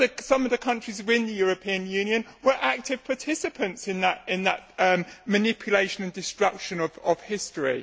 Some of the countries in the European Union were active participants in that manipulation and destruction of history.